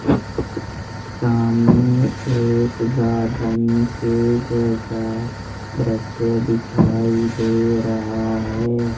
सामने एक गार्डन के जैसा दृश्य दिखाई दे रहा है।